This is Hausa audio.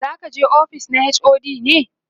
zakije ofis na HOD ne?